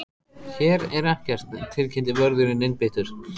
Hér er ekkert tilkynnti vörðurinn einbeittur.